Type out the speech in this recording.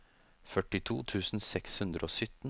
førtito tusen seks hundre og sytten